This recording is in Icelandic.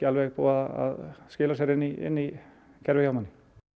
búið að skila sér inn í kerfið hjá manni